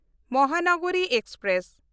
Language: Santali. ᱢᱚᱦᱟᱱᱟᱜᱽᱨᱤ ᱮᱠᱥᱯᱨᱮᱥ